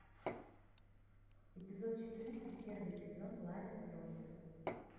эпизод четырнадцать первый сезон ларин против